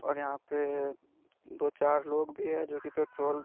और यहा पे दो चार लोग भी है जो की पेट्रोल --